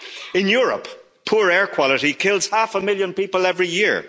In Europe, poor air quality kills half a million people every